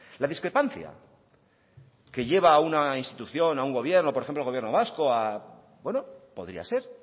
la discrepancia que lleva a una institución a un gobierno por ejemplo el gobierno vasco podría ser